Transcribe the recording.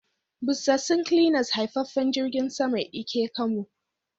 Busassun cleaners haifaffen jirgin sama Ike camo.